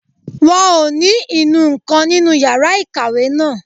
Wọn ò ní inú nǹkan nínú yàrá ìkàwé náà